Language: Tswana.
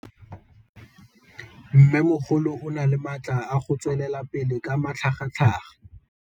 Mmêmogolo o na le matla a go tswelela pele ka matlhagatlhaga.